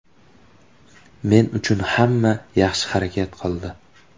Men uchun hamma yaxshi harakat qildi.